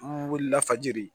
An wulila fajiri